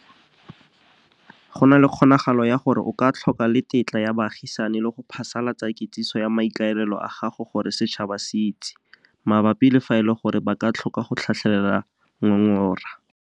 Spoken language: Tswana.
Go na le kgonagalo ya gore o ka tlhoka le tetla ya baagisani, le go phasalatsa kitsiso ya maikaelelo a gago gore setšhaba se itse, mabapi le fa e le gore ba ka tlhoka go tlhatlhela ngongora.